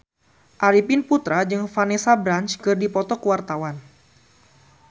Arifin Putra jeung Vanessa Branch keur dipoto ku wartawan